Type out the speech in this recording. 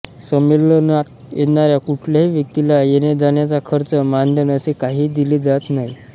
संमेलनात येणाऱ्या कुठल्याही व्यक्तीला येण्याजाण्याचा खर्च मानधन असे काहीही दिले जात नाही